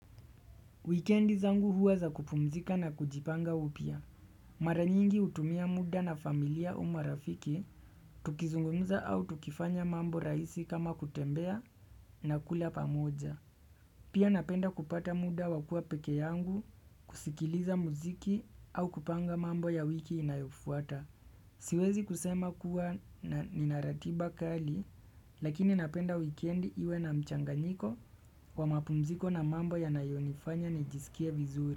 Wikendi zangu huwa za kupumzika na kujipanga upya. Mara nyingi hutumia muda na familia au marafiki, tukizungumza au tukifanya mambo rahisi kama kutembea na kula pamoja. Pia napenda kupata muda wakua pekee yangu kusikiliza muziki au kupanga mambo ya wiki inayofuata. Siwezi kusema kuwa na ninaratiba kali lakini napenda wikendi iwe na mchanganyiko wa mapumziko na mambo yanayonifanya nijisikie vizuri.